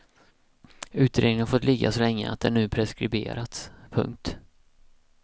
Utredningen har fått ligga så länge att den nu preskriberats. punkt